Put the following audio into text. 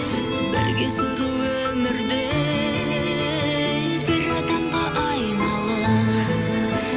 бірге сүру өмірді бір адамға айналып